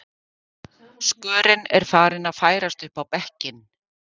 Skörin er farin að færast upp á bekkinn